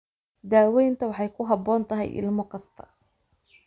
Daawaynta waxay ku habboon tahay ilmo kasta.